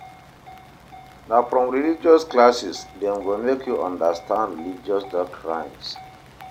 Na from religious classes dem go make you understand religious doctrines.